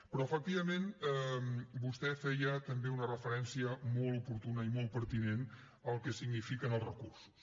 però efectivament vostè feia també una referència molt oportuna i molt pertinent al que signifiquen els recursos